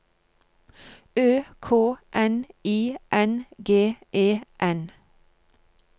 Ø K N I N G E N